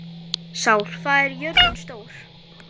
Sál, hvað er jörðin stór?